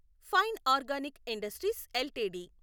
fine Organic Industries LTD